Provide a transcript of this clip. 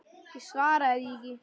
Ég svaraði því ekki.